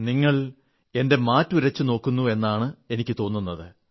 നിങ്ങളെന്റെ മാറ്റുരച്ചുനോക്കുന്നുവെന്നാണ് എനിക്കു തോന്നുന്നത്